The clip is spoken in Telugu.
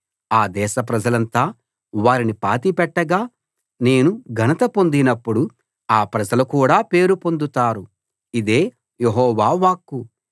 ఆ దేశ ప్రజలంతా వారిని పాతిపెట్టగా నేను ఘనత పొందినపుడు ఆ ప్రజలు కూడా పేరు పొందుతారు ఇదే యెహోవా వాక్కు